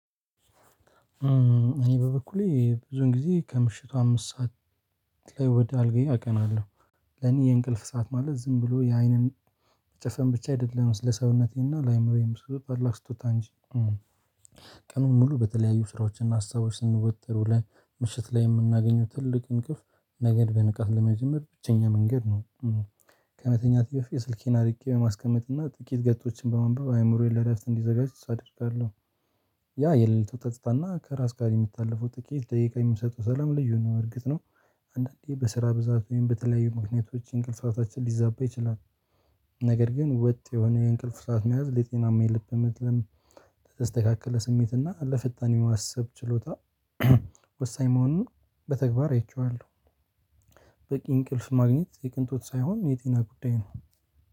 እኔ በበኩሌ ብዙን ጊዜ ከምሽቱ አምስት ሰዓት ላይ ወደ አልጋዬ አቀናለሁ። ለኔ የእንቅልፍ ሰዓት ማለት ዝም ብሎ የአይንን መጨፈን ብቻ አይደለም። ለሰውነቴና ለአእምሮዬም ስጦታ እንጂ ቀኑን ሙሉ በተለያዩ ስራዎችን እና ሀሳቦች ስንወጠር ዉለን ላይ ምሽት ላይ የምናገኘው ትልቅ እንቅልፍ ነገን በንቃት ለመጀመር ብቸኛ መንገድ ነው። ከመተኛቴ በፊት ስልኬን አርቄ በማስቀመጥና ጥቂት ገፆችን በማንበብ አእምሮዬን ለእረፍት እንዲዘጋጅ አደርጋለሁ። ያ የሌሊት ጸጥታ እና ከራስ ጋር የሚታለፈው ጥቂት ደቂቃ የሚሰጠው ሰላም ልዩ ነው። እርግጥ ነው። አንዳንዴ በስራ ብዛት ወይም በተለያዩ ምክንያቶች እንቅልፍ ሰዓታችን ሊዛባ ይችላል። ነገር ግን ወጥ የሆነ የእንቅልፍ ሰዓት መያዝ ለጤናማ የልብ ምትም ለተስተካክለ ስሜት እና ለፈጣን የማስብ ችሎታ ወሳኝ መሆኑን በተግባር አይቼዋለሁ። በቂ እንቅልፍ ማግኘት የቅንጦት ሳይሆን የጤና ጉዳይ ነው።